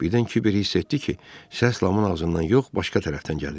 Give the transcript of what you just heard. Birdən Kiver hiss etdi ki, səs Lamın ağzından yox, başqa tərəfdən gəlir.